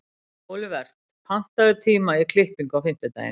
Olivert, pantaðu tíma í klippingu á fimmtudaginn.